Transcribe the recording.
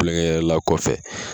Kulonkɛ yɛrɛla kɔfɛ.